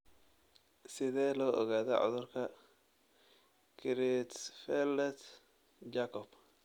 Sidee loo ogaadaa cudurka Creutzfeldt Jakob?